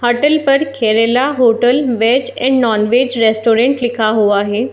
Hotel पर Kerala hotel veg and non veg restaurant लिखा हुआ है।